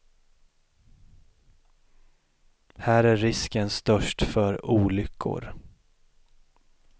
Här är risken störst för olyckor.